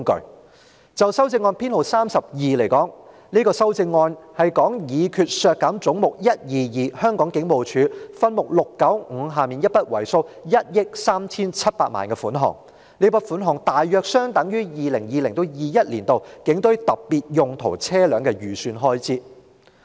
我提出修正案編號 32， 議決為削減分目695而將"總目 122― 香港警務處"削減一筆為數 137,976,000 元的款項，大約相當於 2020-2021 年度警務處警隊特別用途車輛預算開支。